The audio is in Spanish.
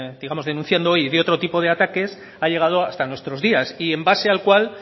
digamos denunciando hoy y de otro tipo de ataques ha llegado hasta nuestros días y en base al cual